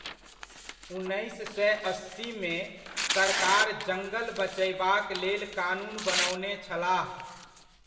उन्नैस सए अस्सीमे, सरकार जङ्गल बचयबाक लेल कानून बनओने छलाह।